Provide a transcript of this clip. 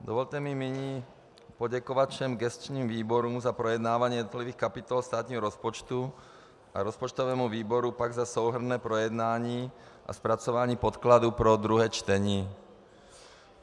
Dovolte mi nyní poděkovat všem gesčním výborům za projednávání jednotlivých kapitol státního rozpočtu a rozpočtovému výboru pak za souhrnné projednání a zpracování podkladů pro druhé čtení.